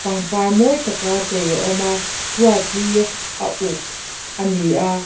pangpar mawi taka chei a awm a chhuat hi a uk ani a.